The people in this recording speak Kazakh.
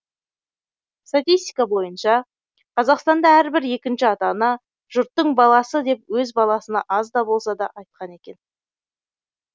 статистика бойынша қазақстанда әрбір екінші ата ана жұрттың баласы деп өз баласына аз да болса да айтқан екен